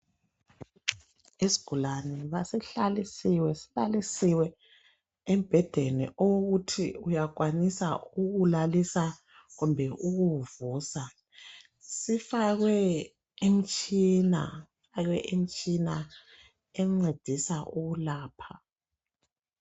Isigulani sihlalisiwe embhedeni owokuthi uyakwanisa ukuwulalisa kumbe ukuwuvusa. Sifakwe imitshina encedisa ukwelapha.